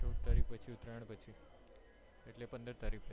ચૌઉદ તારીખ પછી ઉતરાણ પછી એટલે પંદર તારીખ પછી